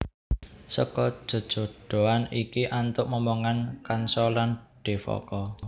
Seka jejodhoan iki antuk momongan kansa lan Devaka